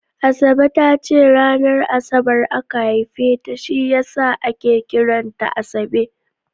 Asabe ta ce ranar Asabar aka haife ta shi ya sa ake kiran ta Asabe